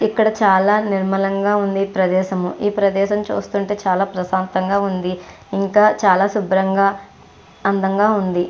ఇక్కడ చాలా నిర్మలంగా ఉంది ప్రదేశం ఈ ప్రదేశం చూస్తుంటే చాలా ప్రశాంతంగా ఉంది ఇంకా చాలా శుబ్రంగా అందంగా ఉంది.